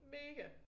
Mega!